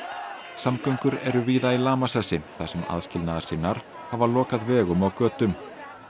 samgöngur eru víða í lamasessi þar sem aðskilnaðarsinnar hafa lokað vegum og götum